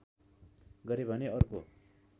गरे भने अर्को